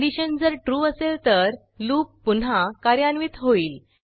condition जर true असेल तर लूप पुन्हा कार्यान्वित होईल